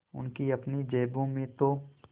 उनकी अपनी जेबों में तो